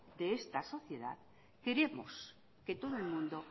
de esta sociedad queremos que todo el mundo